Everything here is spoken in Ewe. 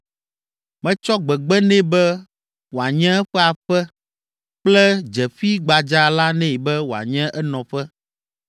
Metsɔ gbegbe nɛ be wòanye eƒe aƒe kple dzeƒi gbadza la nɛ be wòanye enɔƒe.